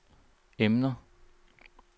emner